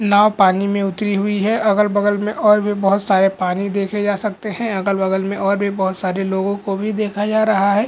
नाव पानी मे उतरी हुई है अगल-बगल मे और भी बहुत सारे पानी देखी जा सकती है अगल-बगल मे और भी बहुत सारे लोगों को भी देखा जा रहा है।